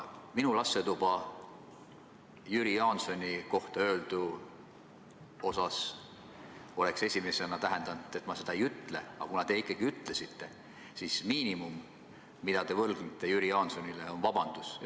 Minu lastetuba Jüri Jaansoni kohta öeldu osas oleks esimesena tähendanud seda, et ma nii ei ütle, aga kuna te ütlesite, siis miinimum, mida te Jüri Jaansonile võlgnete, on vabandus.